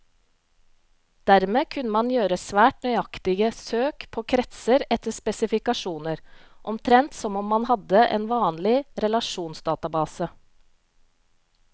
Dermed kunne man gjøre svært nøyaktige søk på kretser etter spesifikasjoner, omtrent som om man hadde en vanlig relasjonsdatabase.